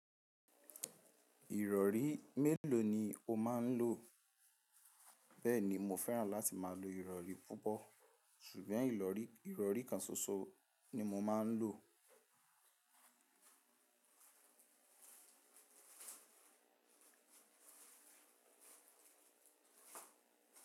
Ìrọ̀rí mélòó ni o máa ń lò? Bẹ́ẹ̀ni mo fẹ́ràn láti máa lo ìrọ̀rí púpọ̀, ṣùgbọ́n ìrọ̀rí ìrọ̀rí kan ṣoṣo ni mo máa ń lò.